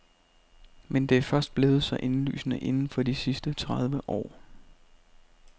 Men det er først blevet så indlysende inden for de sidste tredive år.